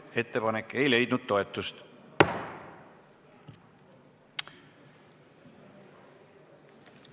Ettepanek ei leidnud toetust.